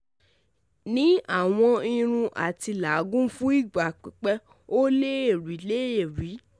Ni awọn irun ati lagun fun igba pipẹ, o le rii le rii